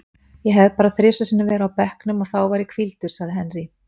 Ég hef bara þrisvar sinnum verið á bekknum og þá var ég hvíldur, sagði Henry.